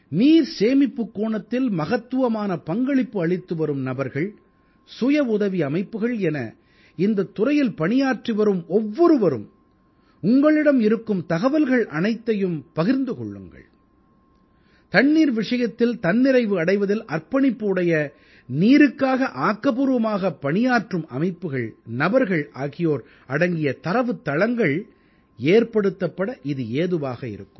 நீர் சேமிப்புக் கோணத்தில் மகத்துவமான பங்களிப்பு அளித்துவரும் நபர்கள் சுய உதவி அமைப்புக்கள் என இந்தத் துறையில் பணியாற்றி வரும் ஒவ்வொருவரும் உங்களிடம் இருக்கும் தகவல்கள் அனைத்தையும் பகிர்ந்து கொள்ளுங்கள் தண்ணீர் விஷயத்தில் தன்னிறைவு அடைவதில் அர்ப்பணிப்பு உடைய நீருக்காக ஆக்கப்பூர்வமான பணியாற்றும் அமைப்புகள் நபர்கள் ஆகியோர் அடங்கிய தரவுத்தளங்கள் ஏற்படுத்தப்பட இது ஏதுவாக இருக்கும்